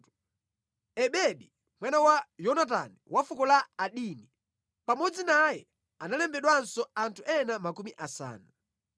Ebedi, mwana wa Yonatani wa fuko la Adini. Pamodzi naye analembedwanso anthu ena makumi asanu.